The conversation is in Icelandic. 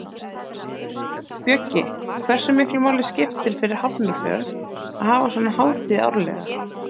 Bjöggi, hversu miklu máli skiptir fyrir Hafnarfjörð að hafa svona hátíð árlega?